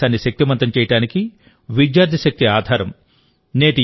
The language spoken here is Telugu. భారతదేశాన్ని శక్తిమంతం చేయడానికి విద్యార్థి శక్తి ఆధారం